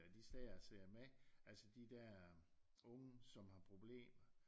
At de sidder og ser med altså de der unge som har problemer